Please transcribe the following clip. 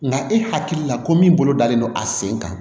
Nka e hakili la ko min bolo dalen don a sen kan